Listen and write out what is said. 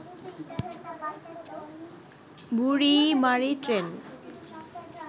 Burimari train